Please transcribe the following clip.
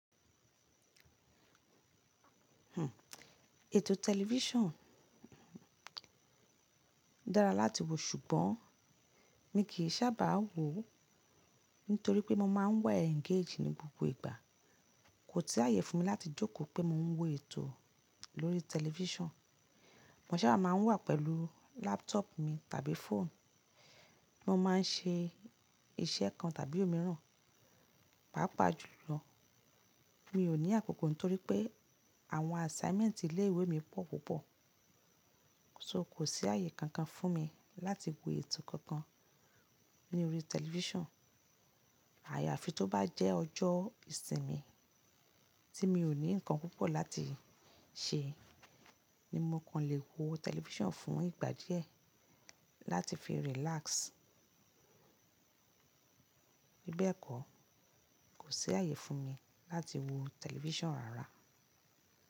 Ètò television dára láti wo ṣùgbọ́n mi kì í sábà wò ó nítorí pé mo máa ń wa engage ní gbogbo ìgbà. Kò tí i ààyè fún mi láti jókòó pé mo ń wo ètò lórí television. Mo sábà máa ń wà pẹ̀lú laptop mi tàbí phone. Mo ma n ṣe iṣẹ́ kan tàbí òmíràn. Pápa jùlọ mi ò ní àkókò nítorí pé àwọn assignment ilé ìwé mi pọ̀ púpọ̀. So kò sí ààyè kankan fún mi láti wo ètò kankan ní orí television. Àyàfi tó bá jẹ́ ọjọ́ ìsinmi tí mi ò ní nǹkan púpọ̀ láti ṣe ni mo kàn lè wo television fún ìgbà díẹ̀ láti fi relax. Bí bẹ́ẹ̀ kọ́ kò sí ààyè fún mi láti wo television rárá.